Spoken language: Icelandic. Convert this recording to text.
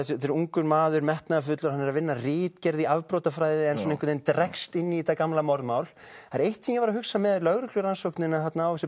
er ungur maður metnaðarfullur hann er að vinna að ritgerð í afbrotafræði en svona dregst inn í þetta gamla morðmál það er eitt sem ég var að hugsa með lögreglurannsóknina á þessu